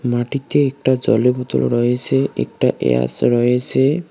মাটিতে একটা জলের বোতল রয়েসে একটা রয়েসে।